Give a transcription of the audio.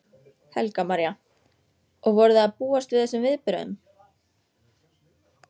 Helga María: Og voruð þið að búast við þessum viðbrögðum?